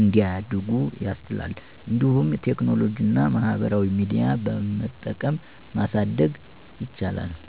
እንዲያድጉ ያስችላሉ። እንዲሁም ቴክኖሎጂና ማህበራዊ ሚዲያ በመጠቀም ማሳደግ ይቻላል።